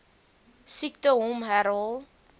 siekte hom herhaal